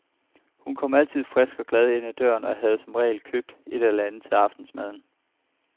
Hun kom altid frisk og glad ind ad døren og havde som regel købt et eller andet med til aftensmaden.